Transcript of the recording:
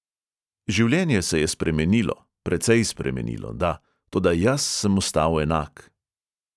Življenje se je spremenilo, precej spremenilo, da, toda jaz sem ostal enak.